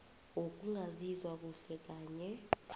wokungazizwa kuhle kanye